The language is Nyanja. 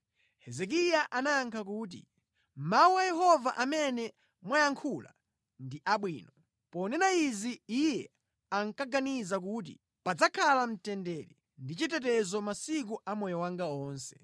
Hezekiya anayankha kuti, “Mawu a Yehova amene mwayankhula ndi abwino.” Ponena izi iye ankaganiza kuti, “Padzakhala mtendere ndi chitetezo masiku a moyo wanga onse.”